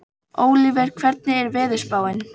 Ólíver, hvernig er veðurspáin?